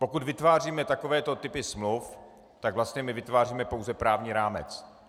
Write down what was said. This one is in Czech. Pokud vytváříme takové typy smluv, tak vlastně my vytváříme pouze právní rámec.